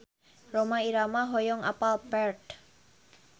Rhoma Irama hoyong apal Perth